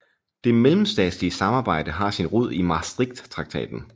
Det mellemstatslige samarbejde har sin rod i Maastrichttraktaten